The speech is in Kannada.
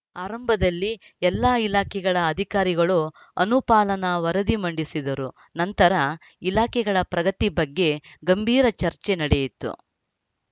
ಆರಂಭದಲ್ಲಿ ಎಲ್ಲಾ ಇಲಾಖೆಗಳ ಅಧಿಕಾರಿಗಳು ಅನುಪಾಲನಾ ವರದಿ ಮಂಡಿಸಿದರು ನಂತರ ಇಲಾಖೆಗಳ ಪ್ರಗತಿ ಬಗ್ಗೆ ಗಂಭೀರ ಚರ್ಚೆ ನಡೆಯಿತು